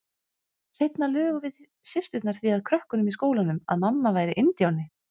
Seinna lugum við systurnar því að krökkunum í skólanum að mamma væri indíáni.